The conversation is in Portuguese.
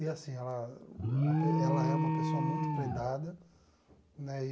E assim, ela uma pe ela é uma pessoa muito prendada, né?